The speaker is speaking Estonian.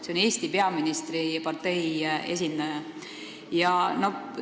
See oli Eesti peaministri partei esindaja kõne.